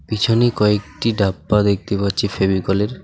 পিছনে কয়েকটি ডাব্বা দেখতে পাচ্ছি ফেবিকলের .